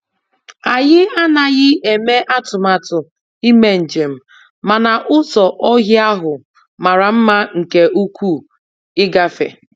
Anyị anaghị eme atụmatụ ime njem, mana ụzọ ọhịa ahụ mara mma nke ukwuu ịgafe.